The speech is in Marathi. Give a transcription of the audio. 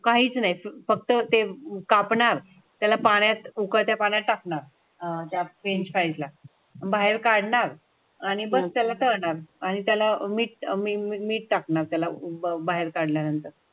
काहीच नाही फक्त ते कापणार, त्याला पाण्यात उकळत्या पाण्यात टाकणार आहेत त्या फ्रेंच फ्राईज पाहिजे बाहेर काढणार आणि बस त्याला करणार आणि त्याला मी टाकणार त्याला बाहेर काढल्यानंतर.